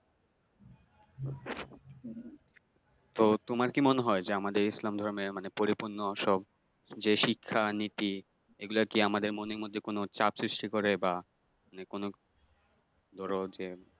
তো, তোমার কি মনে হয় যে আমাদের ইসলাম ধর্মের মানে পরিপূর্ণ সব যে শিক্ষা নীতি এইগুলো কি আমাদের মনের মধ্যে কোন চাপ সৃষ্টি করে বা মানে কোন ধরো যে